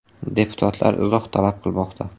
Deputatlar izoh talab qilmoqda.